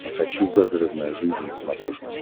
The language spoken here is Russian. хочу загородная жизнь на смотрешке